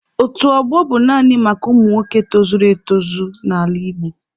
Otu ọgbọ bụ naanị maka ụmụ nwoke tozuru etozu n'ala Igbo.